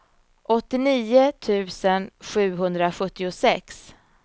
åttionio tusen sjuhundrasjuttiosex